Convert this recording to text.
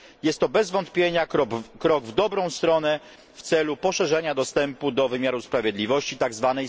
Jest to bez wątpienia krok w dobrą stronę w celu poszerzenia dostępu do wymiaru sprawiedliwości